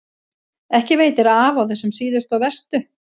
Ekki veitir af á þessum síðustu og verstu.